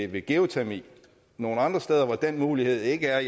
ved geotermi nogle andre steder hvor den mulighed ikke er